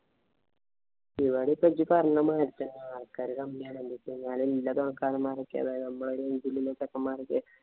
ഇവിടെ ഇപ്പൊ ജ്ജ് പറഞ്ഞ മാതിരി തന്നെ ആള്‍ക്കാര് കമ്മിയാണ്. എന്തെന്ന് വച്ചുകഴിഞ്ഞാല് അതായത് നമ്മടെ രീതിയിലുള്ള ചെക്കന്മാരോക്കെ